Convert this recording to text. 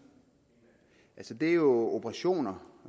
det er jo operationer